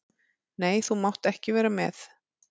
Nei, þú mátt ekki vera með.